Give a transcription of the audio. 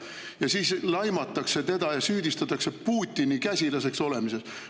Ja siis teda laimatakse ja süüdistatakse Putini käsilaseks olemises.